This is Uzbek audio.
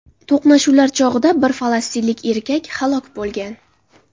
To‘qnashuvlar chog‘ida bir falastinlik erkak halok bo‘lgan.